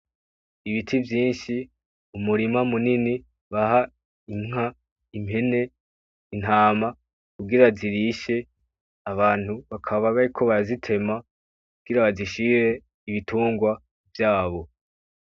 Ibiti vyinshi, umurima munini baha inka, impene, intama kugira zirishe. Abantu bakaba bariko barazitema kugira bazishire ibitungwa vyabo.